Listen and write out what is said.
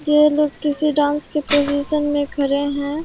ये लोग किसी डांस के पोजीशन में खड़े है।